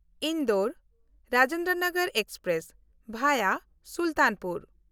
ᱤᱱᱫᱳᱨ-ᱨᱟᱡᱮᱱᱫᱨᱚᱱᱚᱜᱚᱨ express (ᱵᱷᱟᱭᱟ Sultanpur)